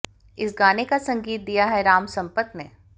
इस गाने का संगीत दिया है राम संपत ने